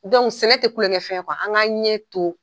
sɛnɛ tɛ kulonkɛ fɛn ye an ka ɲɛ to.